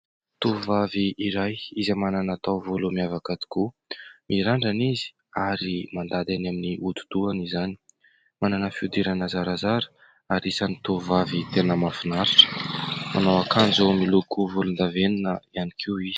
Tovovavy iray izay manana taovolo miavaka tokoa, mirandrana izy ary mandady any amin'ny hodi-dohany izany ; manana fihodirana zarazara ary isan'ny tovovavy tena mahafinaritra. Manao akanjo izay miloko volondavenona ihany koa izy.